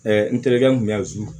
n terikɛ mun